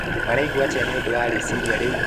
Maraigua atĩa nĩũndũ wa rĩciria rĩu?